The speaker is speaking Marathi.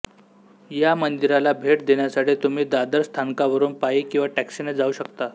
या मंदिराला भेट देण्यासाठी तुम्ही दादर स्थानकावरून पायी किंवा टॅक्सीने जाऊ शकता